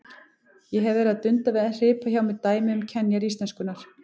Ég hef verið að dunda við að hripa hjá mér dæmi um kenjar íslenskunnar.